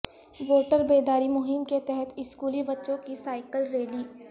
voter بیداری مہم کے تحت اسکولی بچوں کی سائیکل ریلی